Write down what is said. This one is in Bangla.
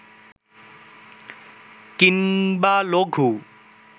কিংবা লঘু